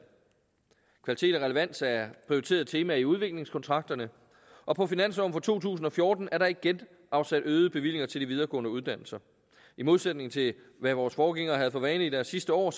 kvalitet og relevans er prioriterede temaer i udviklingskontrakterne og på finansloven for to tusind og fjorten er der igen afsat øgede bevillinger til de videregående uddannelser i modsætning til hvad vores forgængere havde for vane i deres sidste år